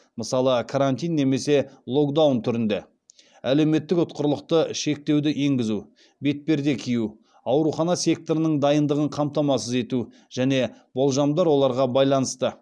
мысалы карантин немесе локдаун түрінде әлеуметтік ұтқырлықты шектеуді енгізу бетперде кию аурухана секторының дайындығын қамтамасыз ету және болжамдар оларға байланысты